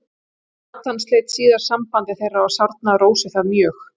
Natan sleit síðar sambandi þeirra og sárnaði Rósu það mjög.